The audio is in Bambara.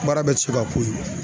Baara bɛ se ka ko ye.